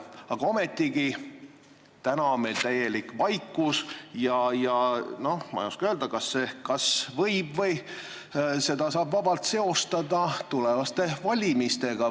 Aga ometigi on täna täielik vaikus ja ma ei oska öelda, kas seda võib või saab seostada tulevaste valimistega.